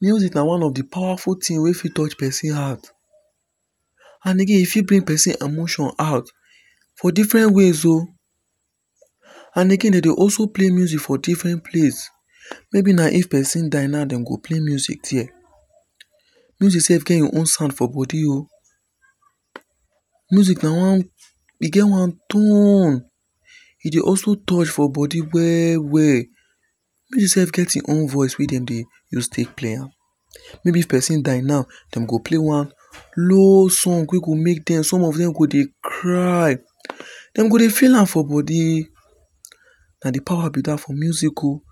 Music na one of the powerful thing wey fit touch person heart. And again, e fit bring person emotions out for different ways o And again dem dey always play music for different place maybe na if person die na dem go play music there. Music get im own sound for body o. Music na one, e get one tone E dey also touch for body well well. Music self get im own voice wey dem dey use take play am. Maybe if person die now, dem go play one slow song wey go make dem some of dem go dey cry. dem go dey feel am for body Na di power be that for music o